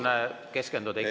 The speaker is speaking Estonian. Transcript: Aitäh, hea kolleeg!